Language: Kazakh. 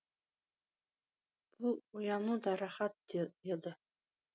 бұл ояну да рақат еді